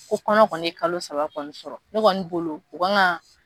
Ko kɔnɔ kɔni ye kalo saba kɔni sɔrɔ, ne kɔni bolo u k'an ka.